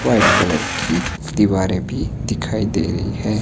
White colour की दीवारें भी दिखाई दे रही हैं।